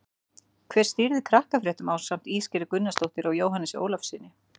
Hver stýrir Krakkafréttum ásamt Ísgerði Gunnarsdóttur og Jóhannesi Ólafssyni?